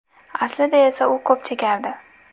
Aslida esa u ko‘p chekardi.